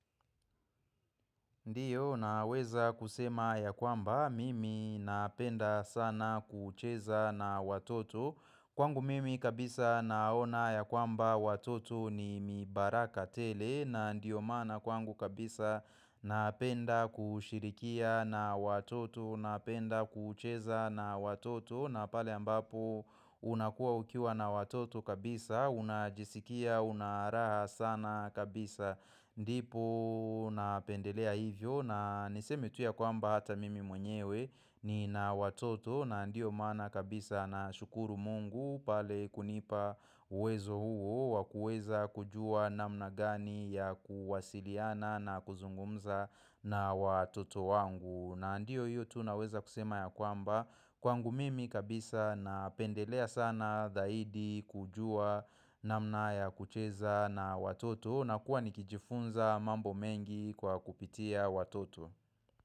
Ndiyo naweza kusema ya kwamba mimi napenda sana kucheza na watoto. Kwangu mimi kabisa naona ya kwamba watoto ni mibaraka tele na ndiyo mana kwangu kabisa. Napenda kushirikia na watoto Napenda kucheza na watoto na pale ambapo unakuwa ukiwa na watoto kabisa Unajisikia unaraha sana kabisa Ndipo. Napendelea hivyo na niseme tu ya kwamba hata mimi mwenyewe ni na watoto na ndio mana kabisa na shukuru mungu pale kunipa. Wezo huo Wakueza kujua namna gani ya kuwasiliana na kuzungumza na watoto wangu na ndio hiyo tu naweza kusema ya kwamba kwangu mimi kabisa napendelea sana dahidi kujua namna ya kucheza na watoto. Nakuwa nikijifunza mambo mengi kwa kupitia watoto.